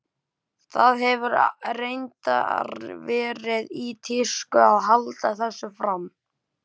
Það hefur reyndar verið í tísku að halda þessu fram.